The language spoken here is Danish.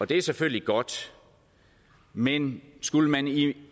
det er selvfølgelig godt men skulle man i